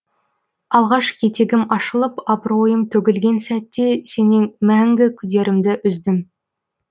алғаш етегім ашылып абыройым төгілген сәтте сенен мәңгі күдерімді үздім